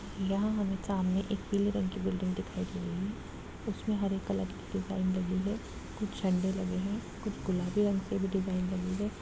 यहाँ हमे सामने एक पीले रंग की बिल्डिंग दिखाई दे रही है उसमे हरे कलर की डिजाइन लगी हुई है कुछ झंडे लगे है कुछ गुलाबी रंग के भी डिजाइन लगी है।